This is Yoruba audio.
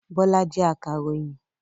Bọ́lá jẹ́ akàròyìn.